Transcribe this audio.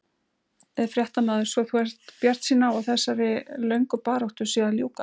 Fréttamaður: Svo þú ert bjartsýn á að þessari lögnu baráttu sé að ljúka?